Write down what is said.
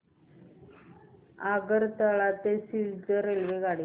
आगरतळा ते सिलचर रेल्वेगाडी